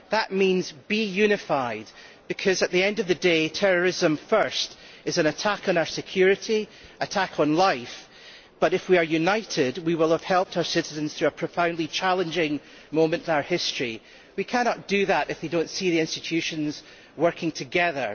That means being unified because, at the end of the day, terrorism is an attack on our security and an attack on life, but if we are united we will have helped our citizens through a profoundly challenging moment in our history. We cannot do that if we do not see the institutions working together.